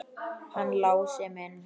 Hann Lási minn!